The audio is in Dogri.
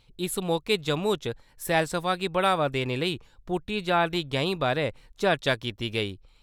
इस मौके जम्मू च सैलसफा गी बढ़ावा देने लेई पुट्टी जा रदी गैंहीं बारै चर्चा कीती गेई ।